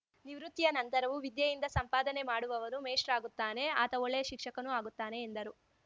ನಿವೃತ್ತಿಯ ನಂತರವೂ ವಿದ್ಯೆಯಿಂದ ಸಂಪಾದನೆ ಮಾಡುವವನು ಮೇಷ್ಟ್ರಾಗುತ್ತಾನೆ ಆತ ಒಳ್ಳೆಯ ಶಿಕ್ಷಕನೂ ಆಗುತ್ತಾನೆ ಎಂದರು